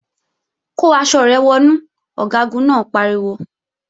Kó aṣọ rẹ wọnú! Ọ̀gágun náà pariwo